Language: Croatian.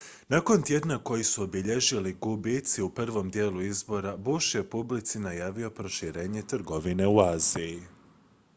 nakon tjedna koji su obilježili gubici u prvom dijelu izbora bush je publici najavio proširenje trgovine u aziji